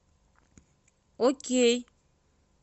окей